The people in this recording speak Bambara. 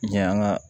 Yan ka